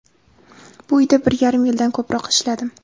Bu uyda bir yarim yildan ko‘proq ishladim.